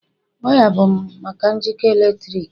waya bụ maka njikọ eletrik